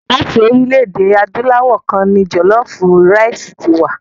Láti orílẹ̀-èdè Adúláwọ̀ kan ni jọ̀lọfú raìsì ti wá.